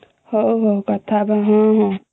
ହଉ ହଉ କଥା ହବା ହମ୍ମ ହମ୍ମ